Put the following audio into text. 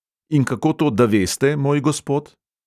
"In kako, da to veste, moj gospod?"